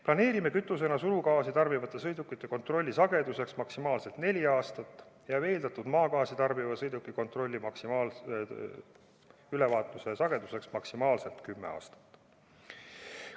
Planeerime kütusena surugaasi tarbivate sõidukite kontrolli sageduseks maksimaalselt neli aastat ja veeldatud maagaasi tarbivate sõidukite ülevaatuse sageduseks maksimaalselt 10 aastat.